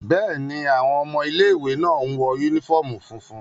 Bẹ́ẹ̀ni, awọn ọmọ ile-iwe náa ǹ wọ unifọmú funfun